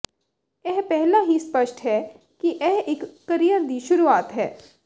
ਇਹ ਪਹਿਲਾਂ ਹੀ ਸਪੱਸ਼ਟ ਹੈ ਕਿ ਇਹ ਇਕ ਕਰੀਅਰ ਦੀ ਸ਼ੁਰੂਆਤ ਹੈ